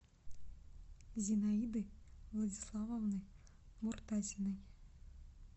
зинаиды владиславовны муртазиной